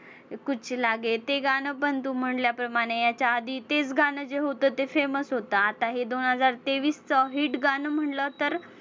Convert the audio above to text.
कुछ लागे ते गाणं पण तू म्हंटल्याप्रमाणे याच्या आधी तेच गाणं जे होतं ते same च होतं. आता हे दोन हजार तेवीसचं hit गाणं म्हंटलं तर